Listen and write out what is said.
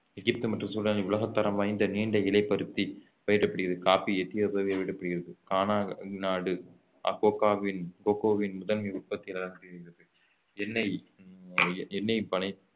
எகிப்து மற்றும் சூடானில் உலகத்தரம் வாய்ந்த நீண்ட இலை பருத்தி பயிரிடப்படுகிறது coffee எத்தியோப்பியாவில் பயிரிடப்படுகிறது கானா நாடு கோக்கோவின் முதன்மை உற்பத்தியாளராக எண்ணெய் எண்ணெய் பனை